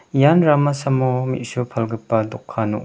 ian ramasamo me·su palgipa dokan ong·a--